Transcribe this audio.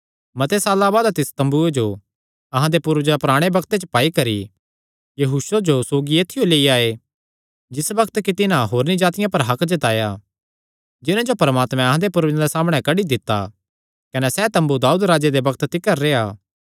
मते साल्लां बाद तिस तम्बूये जो अहां दे पूर्वजां पराणे बग्त च पाई करी यहोशू जो सौगी ऐत्थियो लेई आये जिस बग्त कि तिन्हां होरनी जातिआं पर हक्क जताया जिन्हां जो परमात्मैं अहां दे पूर्वजां दे सामणै कड्डी दित्ता कने सैह़ तम्बू दाऊद राजे दे बग्त तिकर रेह्आ